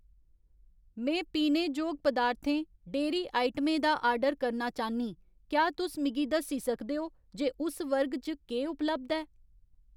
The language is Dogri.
में पीने जोग पदार्थें, डेह्‌री आइटमें दा आर्डर करना चाह्न्नीं, क्या तुस मिगी दस्सी सकदे ओ जे उस वर्ग च केह् उपलब्ध ऐ ?